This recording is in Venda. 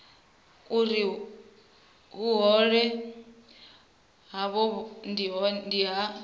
uri vhuhole havho ndi ha